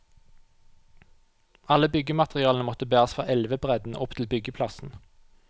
Alle byggematerialene måtte bæres fra elvebredden og opp til byggeplassen.